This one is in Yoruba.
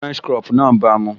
French crop náà bàa mu